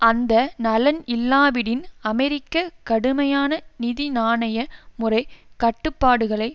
அந்த நலன் இல்லாவிடின் அமெரிக்க கடுமையான நிதி நாணய முறை கட்டுப்பாடுகளை